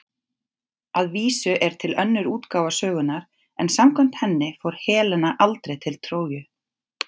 Að vísu er til önnur útgáfa sögunnar en samkvæmt henni fór Helena aldrei til Tróju.